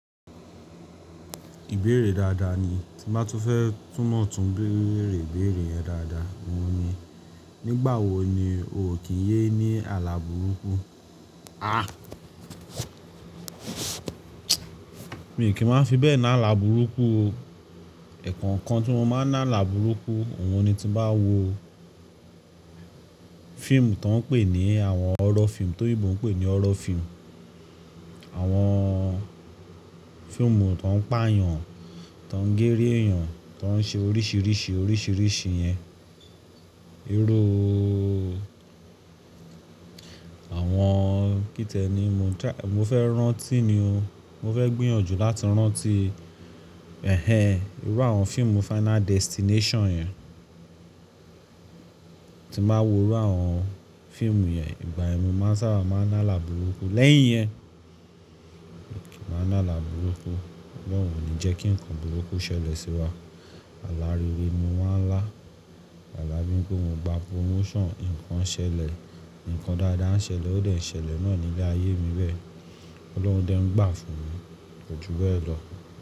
Ìbéèrè dáadáa ni, tí bá tú fẹ́ túnmọ̀tun, béèrè ìbéèrè yẹn dáadáa. Wọ́n ni, nígbà wo ni o kì í yé ní àlàburúkú? Mi kì í máa fi bẹ́ẹ̀ ní àlàburúkú o. Ẹ̀kọ̀okan tí mo máà ń lálà burúkú, òhun ni tí n bá wo fíìmù tó ń pè ní àwọn horror fíìmù, tó oyinbo ń pè ní horror fíìmù. Àwọn fíìmù tó ń pààyàn, tó ń gèri èèyàn, tó ń ṣe oríṣìíríṣìí, oríṣìíríṣìí yẹn. Irú àwọn kí tiẹ́ ni mo ń ta-- mo fẹ́ rántí ni o. Mo fẹ́ gbìyànjú láti rántí, ẹhẹ̀n, irú àwọn fíìmù Final Destination yẹn. Tí n ba wo irú àwọn fíìmù yẹn, ìgbà yẹ́n mo máa ń sábà máa ń lálà burúkú. Lẹ́yìn iyẹn, mi ò kí ń máa làlà burúkú. Ọ̀lorun ò ní jẹ́ kí ǹkan burúkú ṣẹlẹ̀ sí wa. Àlà rere ni mo máa ń lá. Àlà bii wipe mo gba promotion, ǹkan ṣẹlẹ̀, ǹkan dáadáa ń ṣẹlẹ̀, ó dẹ̀ ṣẹlẹ̀ náà ní ilé ayé mi bẹ. Ọlọ́run dẹ̀ ń gbà fún mi. Kò ju bẹ́ẹ̀ lọ.